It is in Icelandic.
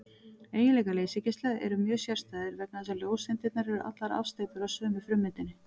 Eiginleikar leysigeisla eru mjög sérstæðir vegna þess að ljóseindirnar eru allar afsteypur af sömu frummyndinni.